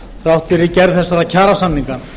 þrátt fyrir gerð þessara kjarasamninga